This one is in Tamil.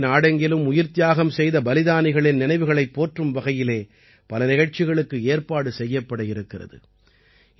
இதன்படி நாடெங்கிலும் உயிர்த்தியாகம் செய்த பலிதானிகளின் நினைவுகளைப் போற்றும் வகையிலே பல நிகழ்ச்சிகளுக்கு ஏற்பாடு செய்யப்பட இருக்கிறது